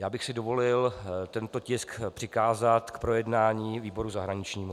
Já bych si dovolil tento tisk přikázat k projednání výboru zahraničnímu.